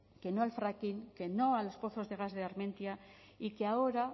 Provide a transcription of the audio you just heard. que no al fracking que no a los pozos de gas de armentia y que ahora